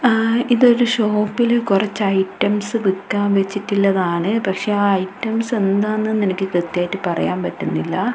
ആ ഇതൊരു ഷോപ്പിലെ കുറച്ച് ഐറ്റംസ് വിൽക്കാൻ വെച്ചിട്ടുള്ളതാണ് പക്ഷേ ആ ഐറ്റംസ് എന്താണെന്ന് എനിക്ക് കൃത്യായിട്ട് പറയാൻ പറ്റുന്നില്ല.